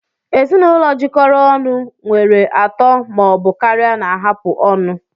Ezinụlọ jikọrọ ọnụ nwere atọ ma ọ bụ karịa na-ahapụ ọnụ